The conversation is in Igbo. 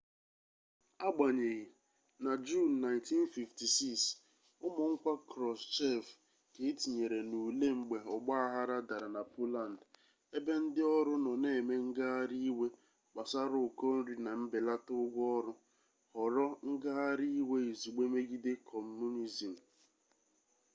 agbanyeghị na juun 1956 ụmụ nkwa krushchev ka e tinyere n'ule mgbe ọgbaaghara dara na poland ebe ndị ọrụ nọ na-eme ngagharị iwe gbasara ụkọ nri na mbelata ụgwọ ọrụ ghọrọ ngagharị iwe izugbe megide kọmunizim